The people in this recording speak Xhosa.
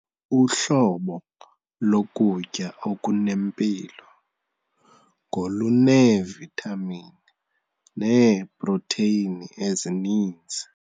Uhlobo lokutya okunempilo ngoluneevithamini neeprotheyini ezininzi.